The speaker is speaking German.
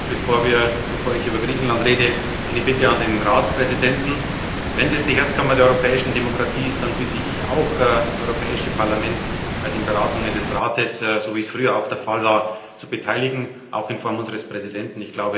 Bevor ich über Griechenland rede, eine Bitte an den Ratspräsidenten Wenn das die Herzkammer der europäischen Demokratie ist, dann bitte ich auch, das Europäische Parlament bei den Beratungen des Rates so wie es früher auch der Fall war zu beteiligen, auch in Person unseres Präsidenten.